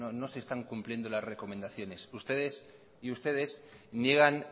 no no se están cumpliendo las recomendaciones ustedes y ustedes niegan